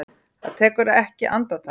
Það tekur ekki andartak.